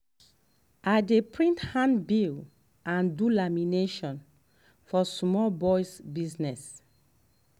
i dey print handbill and do lamination for small boys business.